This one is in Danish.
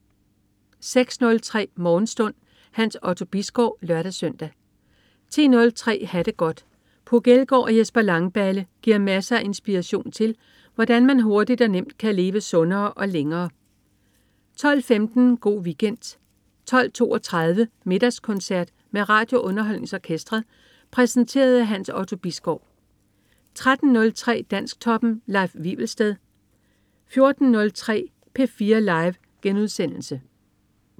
06.03 Morgenstund. Hans Otto Bisgaard (lør-søn) 10.03 Ha' det godt. Puk Elgård og Jesper Langballe giver masser af inspiration til, hvordan man hurtigt og nemt kan leve sundere og længere 12.15 Go' Weekend 12.32 Middagskoncert med RadioUnderholdningsOrkestret. Præsenteret af Hans Otto Bisgaard 13.03 Dansktoppen. Leif Wivelsted 14.03 P4 Live*